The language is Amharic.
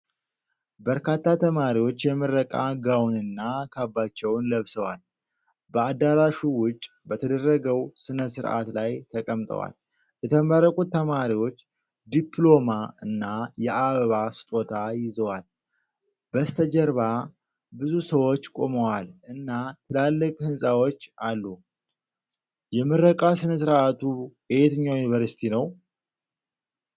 በርካታ ተማሪዎች የምረቃ ጋውንና ካባቸውን ለብሰዋል። በአዳራሹ ውጭ በተደረገው ሥነ ሥርዓት ላይ ተቀምጠዋል። የተመረቁት ተማሪዎች ዲፕሎማ እና የአበባ ስጦታ ይዘዋል። በስተጀርባ ብዙ ሰዎች ቆመዋል እና ትላልቅ ሕንፃዎች አሉ። የምረቃ ሥነ ሥርዓቱ የየትኛው ዩኒቨርሲቲ ነው?